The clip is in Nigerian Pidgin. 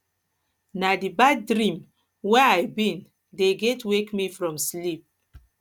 na di bad dream wey i bin dey get wake me from sleep